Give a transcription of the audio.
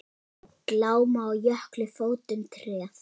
Glámu á jökli fótum treð.